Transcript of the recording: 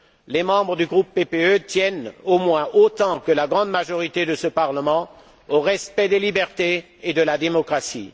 Les membres du groupe PPE tiennent, au moins autant que la grande majorité de ce Parlement, au respect des libertés et de la démocratie.